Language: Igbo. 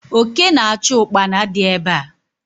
Oke na achu Ụkpana di ebe a